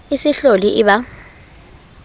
e se hlole e ba